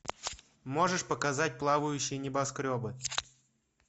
можешь показать плавающие небоскребы